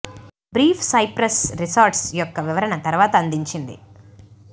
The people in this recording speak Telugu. బ్రీఫ్ సైప్రస్ రిసార్ట్స్ యొక్క వివరణ తరువాత అందించింది